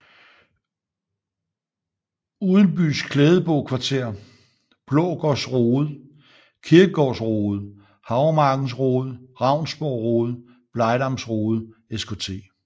Udenbys Klædebo Kvarter Blaagaards Rode Kirkegaards Rode Havremarkens Rode Ravnsborg Rode Blegdams Rode Skt